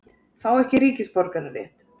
Fá ekki ríkisborgararétt